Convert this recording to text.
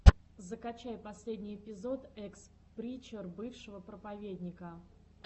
закачай последний эпизод экс причер бывшего проповедника